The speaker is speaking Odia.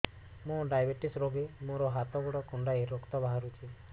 ମୁ ଡାଏବେଟିସ ରୋଗୀ ମୋର ହାତ ଗୋଡ଼ କୁଣ୍ଡାଇ ରକ୍ତ ବାହାରୁଚି